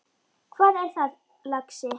Hvað er það, lagsi?